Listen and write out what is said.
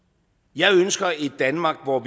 jeg ønsker et danmark hvor